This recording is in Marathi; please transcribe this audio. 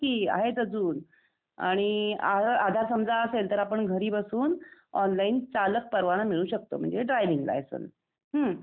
आहेत कि, आहेत अजून आणि आधार समजा असेल तर आपण घरी बसून ऑनलाईन चालक परवाना मिळवू शकतो म्हणजे ड्राइविंग लायसेंन्स. हम्म?